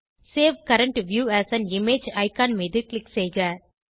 save current view as an image icon மீது click செய்க